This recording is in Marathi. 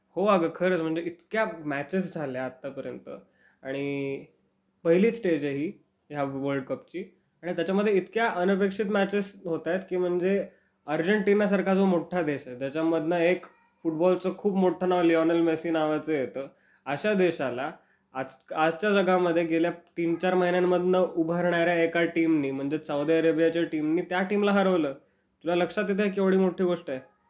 हो अगं, खरंच. म्हणजे इतक्या मॅचेस झाल्यात आत्तापर्यंत. आणि पहिलीच स्टेज आहे ही ह्या वर्ल्ड कपची. आणि त्याच्यामध्ये इतक्या अनपेक्षित मॅचेस होतायत, की म्हणजे अर्जेंटिनासारखा जो मोठा देश आहे, त्याच्यामधनं एक फुटबॉलचं खूप मोठं नाव लिओनेल मेस्सी नावाचं येतं.अशा देशाला आजच्या जगामध्ये गेल्या तीन-चार महिन्यांमधनं उभरणाऱ्या एका टीमनी म्हणजे सौदी अरेबियाच्या टीमनी त्या टीमला हरवलं.तुला लक्षात येतंय केवढी मोठी गोष्ट आहे?